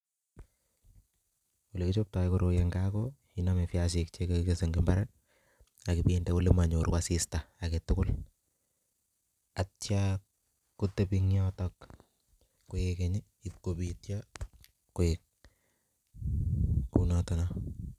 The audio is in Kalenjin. Ole kichoptoi koroi eng' gaa, ko iname piasik che kekese eng imbar, akibinde ole manyoru asista agetugul. Atia kotebi eng' yotok koek keny, ipkobityo, koek kunotono